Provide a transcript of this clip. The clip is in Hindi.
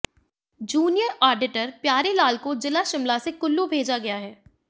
जूनियर आडिटर प्यारे लाल को जिला शिमला से कुल्लू भेजा गया है